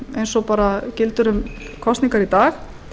eins og gildir um kosningar í dag